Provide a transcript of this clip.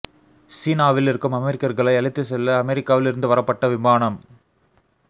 சீனாவில் இருக்கும் அமெரிக்கர்களை அழைத்துச் செல்ல அமெரிக்காவில் இருந்து வரப்பட்ட விமானம்